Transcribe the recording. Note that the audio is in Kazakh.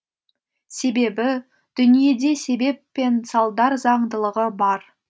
себебі дүниеде себеп пен салдар заңдылығы бар